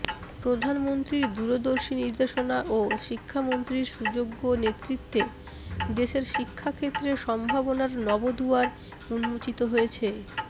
প্রধানমন্ত্রীর দূরদর্শী নির্দেশনা ও শিক্ষামন্ত্রীর সুযোগ্য নেতৃত্বে দেশের শিক্ষাক্ষেত্রে সম্ভাবনার নব দুয়ার উন্মোচিত হয়েছে